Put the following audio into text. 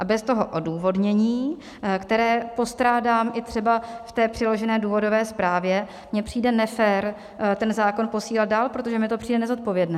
A bez toho odůvodnění, které postrádám i třeba v té přiložené důvodové zprávě, mi přijde nefér ten zákon posílat dál, protože mi to přijde nezodpovědné.